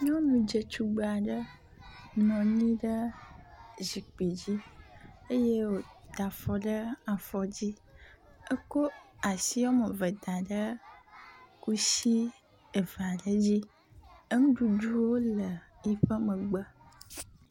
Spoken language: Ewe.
Nyɔnu dzetugbe aɖe nɔ anyi ɖe zikpui dzi eyey woda afɔ ɖe afɔ dzdi. Eko asi wɔme eve da ɖe kusi eve aɖe dzi. Nuɖuɖuwo le eƒe megbe.